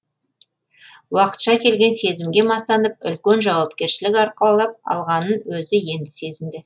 уақытша келген сезімге мастанып үлкен жауапкершілік арқалап алғанын өзі енді сезінді